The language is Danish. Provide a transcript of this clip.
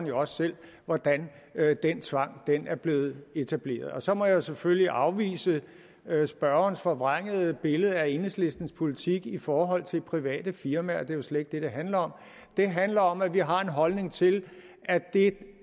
jo også selv hvordan den tvang er blevet etableret så må jeg selvfølgelig afvise spørgerens forvrængede billede af enhedslistens politik i forhold til private firmaer det er jo slet ikke det det handler om det handler om at vi har en holdning til at det